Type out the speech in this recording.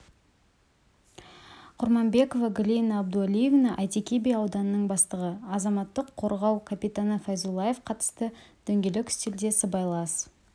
құрманбекова галина абдуалиевна әйтеке би ауданының бастығы азаматтық қорғау капитаны файзуллаев қатысты дөңгелек үстелде сыбайлас